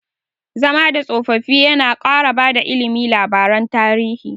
Zama da tsofaffi yana ƙara bada ilimi labaran tarihi.